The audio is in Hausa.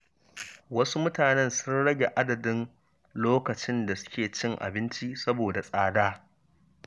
Wasu mutanen sun rage adadin lokacin da suke cin abinci saboda tsada